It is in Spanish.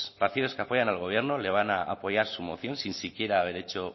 partidos que apoyan al gobierno le van a apoyar su moción sin siquiera haber hecho